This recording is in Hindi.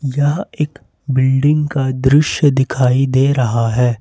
यह एक बिल्डिंग का दृश्य दिखाई दे रहा है।